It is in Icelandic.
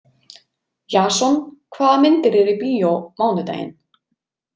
Jason, hvað myndir eru í bíó mánudaginn?